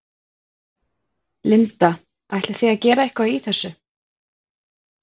Linda: Ætlið þið að gera eitthvað í þessu?